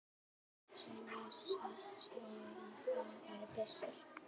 Sumir sögðu að það væri byssur.